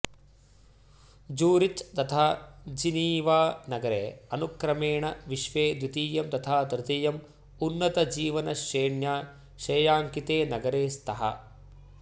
Zurich तथा Geneva नगरे अनुक्रमेण विश्वे द्वितीयं तथा तृतीयम् उन्नतजीवनश्रेण्या श्रेयाङ्किते नगरे स्तः